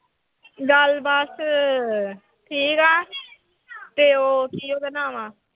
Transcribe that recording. ਗੱਲ ਬਸ ਠੀਕ ਆ ਤੇ ਉਹ ਕੀ ਉਹਦਾ ਨਾਮ ਆਂ।